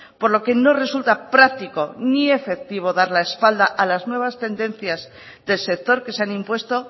por lo que no resulta práctico ni efectivo dar la espalda a las nuevas tendencias del sector que se han impuesto